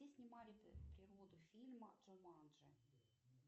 где снимали природу фильма джуманджи